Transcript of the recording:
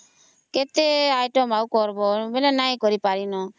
କେତେ item ହେଲା କରିବା ବୋଲେ ନାଇଁ କରି ଆଉ